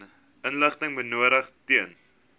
inligting benodig ten